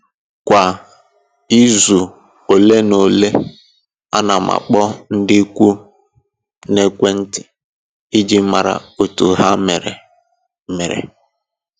Kwa izu ole na ole, ana m akpọ ndị ikwu m n'ekwentị iji mara otu ha mere mere